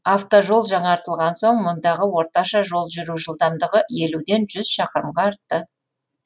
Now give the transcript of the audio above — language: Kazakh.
автожол жаңартылған соң мұндағы орташа жол жүру жылдамдығы елуден жүз шақырымға артты